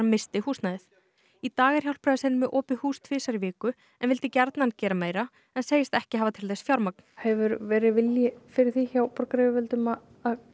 í dag er Hjálpræðisherinn með opið hús tvisvar í viku en vildi gjarnan gera meira en segist ekki hafa til þess fjármagn hefur verið vilji fyrir því hjá borgaryfirvöldum að koma inn í eitthvað svona verkefni